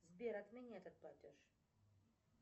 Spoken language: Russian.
сбер отмени этот платеж